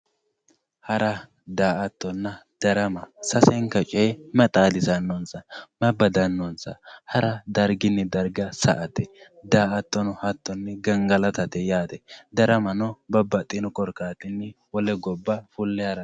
hara daa''attonna darama sasenka coye mayi xaadisannonsa? mayi badannonsa hara darginni darga sa''ate daa''attono hattonni gangalatate yaate daramano babbaxino korkaatinni fulle harate.